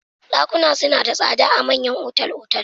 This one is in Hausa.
Ɗakuna suna da tsada a manyan otal-otal.